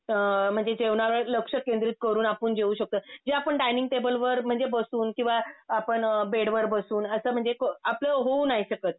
म्हणजे जेवणावर लक्ष केंद्रित करून आपण जेऊ शकतो. जे आपण डायनिंग टेबलवर म्हणजे बसून किंवा आपण बेडवर बसून असं म्हणजे को आपलं होऊ नाही शकत.